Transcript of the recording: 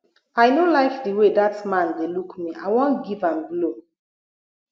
i no like the way dat man dey look me i wan give am blow